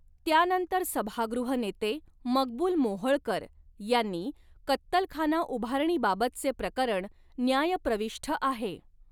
त्यानंतर सभागृह नेते मकबूल मोहोळकर यांनी, कत्तलखाना उभारणीबाबतचे प्रकरण न्यायप्रविष्ठ आहे.